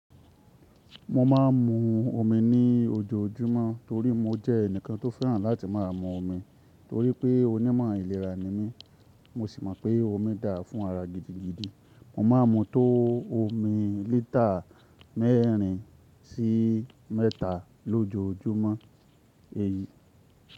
Mo ma ń mu omi ní ojoojúmọ́ torí mo jẹ́ ẹnìkan tó fẹ́ràn láti máa mu omi torí pé onímọ̀ ìlera ni mí. Mo sì mọ̀ pé omi dára fún ara gidigidi. Mo máa ń mu tó omi lítà mẹ́rin sí mẹ́ta lójoojúmọ́.